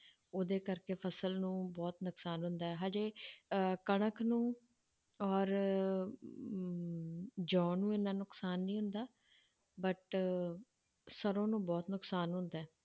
ਉਹਦੇ ਕਰਕੇ ਫਸਲ ਨੂੰ ਬਹੁਤ ਨੁਕਸਾਨ ਹੁੰਦਾ ਹੈ ਹਜੇ ਅਹ ਕਣਕ ਨੂੰ ਔਰ ਅਮ ਜੌਂ ਨੂੰ ਇੰਨਾ ਨੁਕਸਾਨ ਨਹੀਂ ਹੁੰਦਾ but ਸਰੋਂ ਨੂੰ ਬਹੁਤ ਨੁਕਸਾਨ ਹੁੰਦਾ ਹੈ,